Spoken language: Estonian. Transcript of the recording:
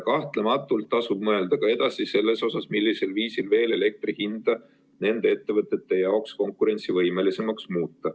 Kahtlemata tasub mõelda ka edasi selles osas, millisel viisil veel elektri hinda nende ettevõtete jaoks konkurentsivõimelisemaks muuta.